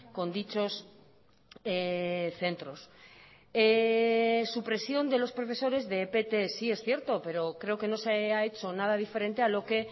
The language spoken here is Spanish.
con dichos centros supresión de los profesores de pt si es cierto pero creo que no se ha hecho nada diferente a lo que